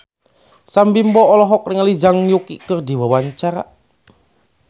Sam Bimbo olohok ningali Zhang Yuqi keur diwawancara